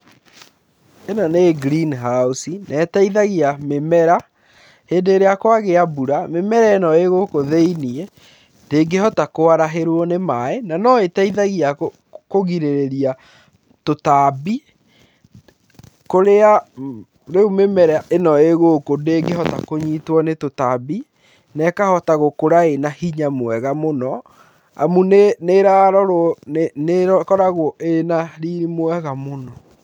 Ĩno nĩ green house na ĩteithagia mĩmera hĩndĩ ĩrĩa kwagia mbura mĩmera ĩno ĩgũkũ thĩiniĩ ndĩngĩhota kwarahĩrwo nĩ maaĩ na no ĩteithagia kũgirĩrĩria tũtambi kũrĩa rĩu mĩmera ĩno ĩgũkũ ndĩngĩhota kũnyitwo nĩ tũtambi na ĩkahota gũkũra ĩna hinya mwega mũno amu nĩ ĩrarorwo nĩ ĩkoragwo ĩna riri mwega mũno.